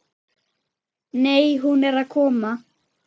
Nei, hún er að koma.